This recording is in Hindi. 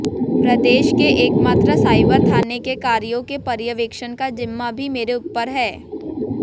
प्रदेश के एकमात्र साइबर थाने के कार्यों के पर्यवेक्षण का जिम्मा भी मेरे ऊपर है